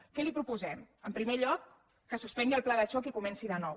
què li proposem en primer lloc que suspengui el pla de xoc i comenci de nou